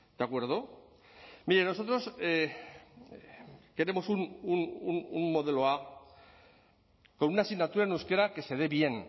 de acuerdo mire nosotros queremos un modelo a con una asignatura en euskera que se dé bien